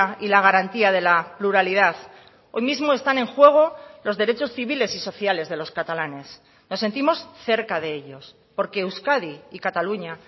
y la garantía de la pluralidad hoy mismo están en juego los derechos civiles y sociales de los catalanes nos sentimos cerca de ellos porque euskadi y cataluña